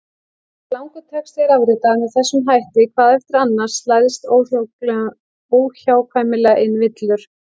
Þegar langur texti er afritaður með þessum hætti hvað eftir annað slæðast óhjákvæmilega inn villur.